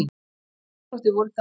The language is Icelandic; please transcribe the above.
Hvaða íþróttir voru þá?